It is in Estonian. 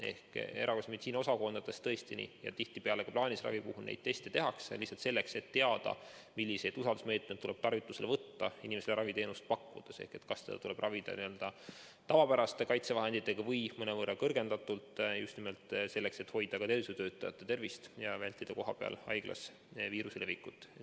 Erakorralise meditsiini osakondades ja tihtipeale ka plaanilise ravi puhul neid teste tehakse lihtsalt selleks, et teada, milliseid meetmeid tuleb tarvitusele võtta inimestele raviteenust pakkudes ehk kas tuleb ravida n‑ö tavapäraste kaitsevahenditega või mõnevõrra kõrgendatud kaitsega, just nimelt selleks, et hoida tervishoiutöötajate tervist ja vältida haiglas viiruse levikut.